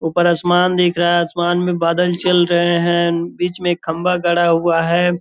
ऊपर आसमान दिख रहा है आसमान में बादल चल रहे हैं बीच में एक खम्बा गढ़ा हुआ है ।